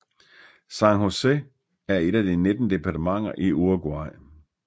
San José er et af de 19 departementer i Uruguay